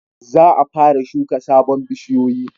Za a fara shuka sabon bishiyoyi